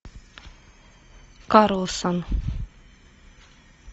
карлсон